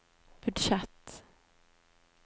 budsjett